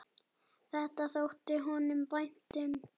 Þetta þótti honum vænt um.